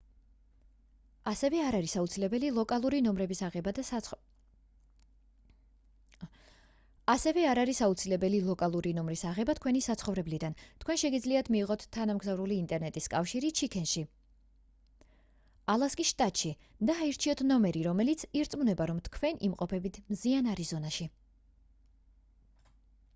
ასევე არ არის აუცილებელი ლოკალური ნომრის აღება თქვენი საცხოვრებლიდან თქვენ შეგიძლიათ მიიღოთ თანამგზავრული ინტერნეტის კავშირი ჩიქენში ალასკის შტატში და აირჩიოთ ნომერი რომელიც ირწმუნება რომ თქვენ იმყოფებით მზიან არიზონაში